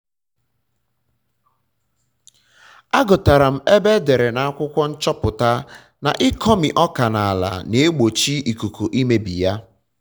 agụtara m ebe edere na akwụkwọ nchọpụta na ịkọmi ọka na ala na-egbochi ikuku imebi ya